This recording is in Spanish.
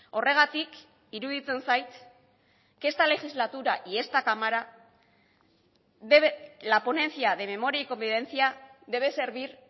horregatik iruditzen zait que esta legislatura y esta cámara debe la ponencia de memoria y convivencia debe servir